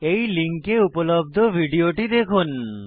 এই লিঙ্কে উপলব্ধ ভিডিওটি দেখুন